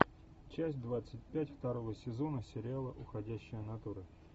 часть двадцать пять второго сезона сериала уходящая натура